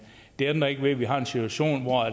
det ændrer ikke ved at vi har en situation hvor